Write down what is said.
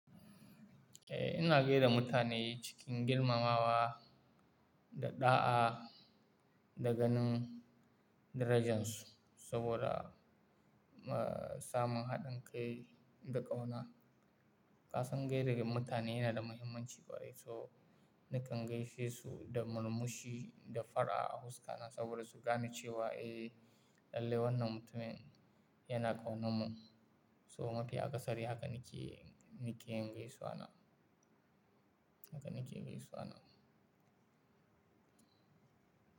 Eh, ina gai da mutane cikin girmamawa da ɗa'a, da ganin darajan su saboda, ah, samun haɗin kai da ƙauna. Kasan gai da mutane yana da muhimmanci kwarai, so nakan gaishe su da murmushi da fara a huska nan saboda su gane cewa eh, lallai wannan mutumin yana ƙauna mu. So mafi kasari haka nake, nake gaisuwa na, haka nake gaisuwa na.